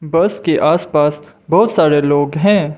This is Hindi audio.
बस के आसपास बहोत सारे लोग है।